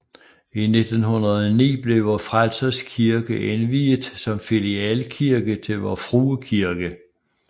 I 1909 blev Vor Frelsers Kirke indviet som filialkirke til Vor Frue Kirke